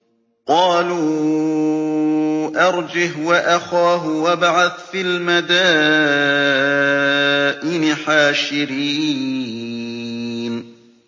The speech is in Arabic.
قَالُوا أَرْجِهْ وَأَخَاهُ وَابْعَثْ فِي الْمَدَائِنِ حَاشِرِينَ